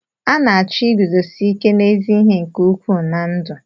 A na-achọ iguzosi ike n'ezi ihe nke ukwuu na ndụ.